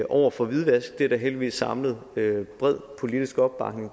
over for hvidvask og det er der heldigvis samlet bred politisk opbakning